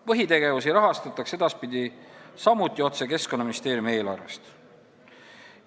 Põhitegevusi rahastataks edaspidi samuti otse Keskkonnaministeeriumi eelarvest.